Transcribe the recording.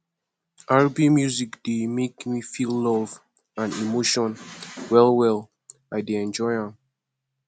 rb music dey make me feel love and emotion wellwell i dey enjoy am